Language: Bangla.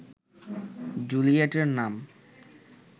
জুলিয়েটের নাম